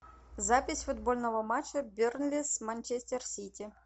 запись футбольного матча бернли с манчестер сити